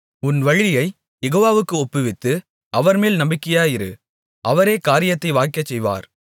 உன் வழியைக் யெகோவாவுக்கு ஒப்புவித்து அவர்மேல் நம்பிக்கையாயிரு அவரே காரியத்தை வாய்க்கச்செய்வார்